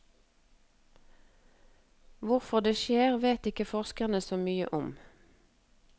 Hvorfor det skjer, vet ikke forskerne så mye om.